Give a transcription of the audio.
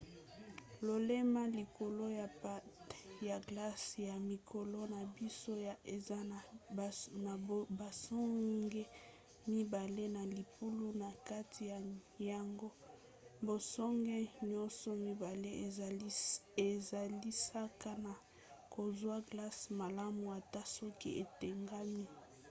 lolemo likolo ya patin ya glace ya mikolo na biso yo eza na basonge mibale na libulu na kati na yango. basonge nyonso mibale esalisaka na kozwa glace malamu ata soki etengami